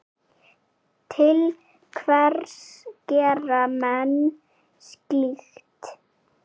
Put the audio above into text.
Til hvers gera menn slíkt?